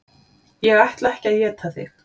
Ég ætla ekki að éta þig.